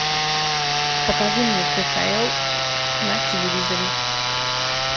покажи мне кхл на телевизоре